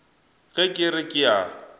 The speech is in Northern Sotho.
ge ke re ke a